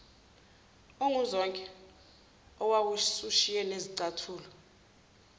onguzonke owawusushiye nezicathulo